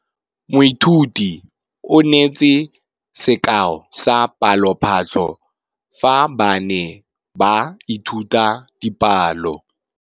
Moithuti o neetse sekaô sa palophatlo fa ba ne ba ithuta dipalo.